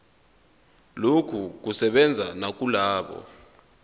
lokhu kusebenza nakulabo